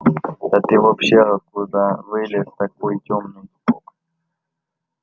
да ты вообще откуда вылез такой тёмный